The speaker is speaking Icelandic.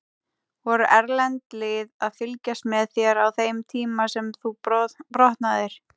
Voru erlend lið að fylgjast með þér á þeim tíma sem þú brotnaðir?